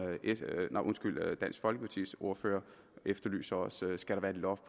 dansk folkepartis ordfører efterlyser skal der et loft